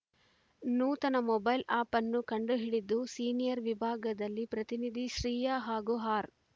ನೂತನ mobile app ಕಂಡು ಹಿಡಿದು ಸಿನಿಯರ್‌ ವಿಭಾಗದಲ್ಲಿ ಪ್ರತಿನಿಧಿಸಿದ್ದ ಶ್ರೀಯಾ ಹಾಗೂ ಆರ್‌